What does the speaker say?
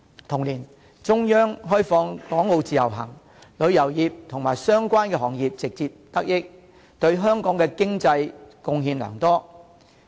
同年，中央開放港澳自由行，旅遊業及相關行業直接得益，對香港的經濟貢獻良多。